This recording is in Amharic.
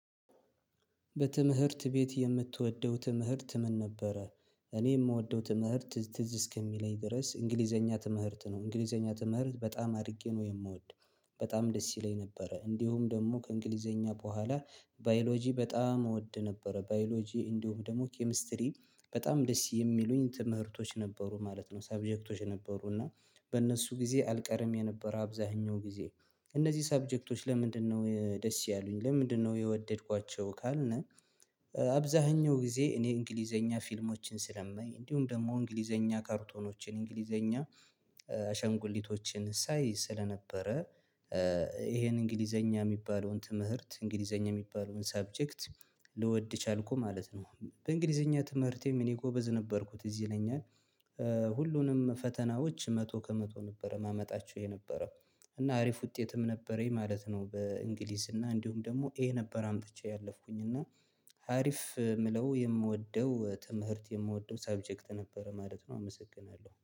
በትምህርት ቤት የምትወደው ትምህርት ምን ነበረ? እኔ ምወደው ትምህርት ትዝ እስከሚለኝ ድረስ እንግሊዘኛ ትምህርት ነው። እንግሊዘኛ ትምህርት በጣም አድርጌ ነው የምወድ። በጣም ደስ ይለኝ ነበረ እንዲሁም ደግሞ ከእንግሊዘኛ በኋላ ባዮሎጂ በጣም እወድ ነበረ። ባዮሎጂ እንዲሁም ደግሞ ኬሚስትሪ በጣም ደስ የሚሉኝ ትምህርቶች ነበሩ ማለት ነው። ሰብጀክቶች ነበሩ እና በእነሱ ጊዜ አልቀርም የነበረ አብዛኛው ጊዜ እነዚህ ሰብጀክቶች ለምንድነው ደስ ያሉኝ? ለምንድነው የወደድኳቸው? ካልነ አብዛኛው ጊዜ እኔ እንግሊዘኛ ፊልሞችን ስለማይ እንዲሁም ደግሞ እንግሊዘኛ ካርቶኖችን እንግሊዘኛ አሻንጉሊቶችን ሳይ ስለነበረ ይሄን እንግሊዘኛ ሚባለውን ትምህርት እንግሊዘኛ ሚባለውን ሰብጀክት ልወድ ቻልኩ ማለት ነው። በእንግሊዘኛ ትምህርቴም እኔ ጎበዝ ነበርኩ ትዝ ይለኛል ሁሉንም ፈተናዎች መቶ ከመቶ ነበረ ማመጣቸው የነበረው እና አሪፍ ውጤትም ነበረኝ ማለት ነው በእንግሊዝ እና እንዲሁም ደግሞ ኤ ነበር አምጥቼ ያለፍኩኝ እና ሀሪፍ ምለው የምወደው ትምህርት የምወደው ሰብጀክት ነበረ ማለት ነው። አመሰግናለሁ